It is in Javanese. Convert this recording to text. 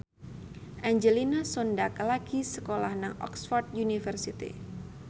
Angelina Sondakh lagi sekolah nang Oxford university